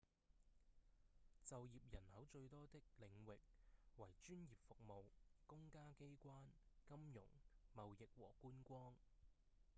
就業人口最多的領域為專業服務、公家機關、金融、貿易和觀光